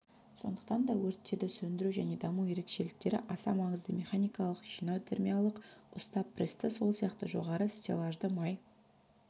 сондықтан да өрттерді сөндіру және даму ерекшеліктері аса маңызды механикалық жинау термиялық ұста-прессті сол сияқты жоғары стеллажды май